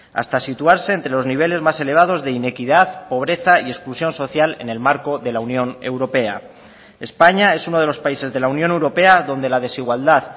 hasta situarse entre los niveles más elevados de inequidad pobreza y exclusión social en el marco de la unión europea españa es uno de los países de la unión europea donde la desigualdad